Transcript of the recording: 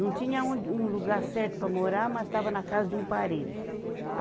Não tinha onde, um lugar certo para morar, mas estava na casa de um parente.